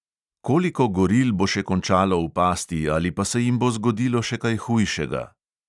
Koliko goril bo še končalo v pasti ali pa se jim bo zgodilo še kaj hujšega?